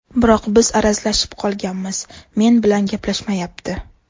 Biroq biz arazlashib qolganmiz, men bilan gaplashmayapti.